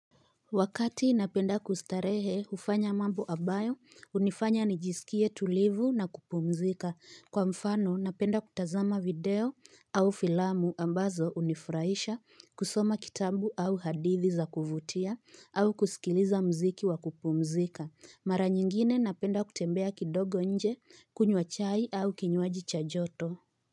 Wakati napenda kustarehe hufanya mambo ambayo, hunifanya nijisikie tulivu na kupumzika. Kwa mfano napenda kutazama video au filamu ambazo hunifurahisha, kusoma kitabu au hadithi za kuvutia, au kusikiliza mziki wa kupumzika. Mara nyingine napenda kutembea kidogo nje, kunywa chai au kinywaji chajoto.